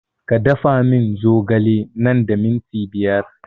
Ka da fa mun zogale nan da minti biyar